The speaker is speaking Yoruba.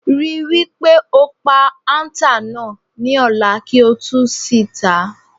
Ri wí pé o pa àǹtà náà ní o̩lá kí ó sì tà á.